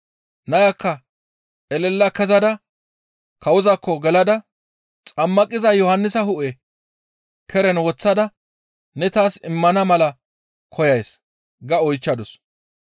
Nayakka elela kezada kawozaakko gelada, «Xammaqiza Yohannisa hu7e keren woththada ne taas immana mala koyays» ga oychchadus.